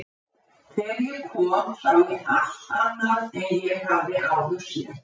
Þegar ég kom sá ég allt annað en ég hafði áður séð.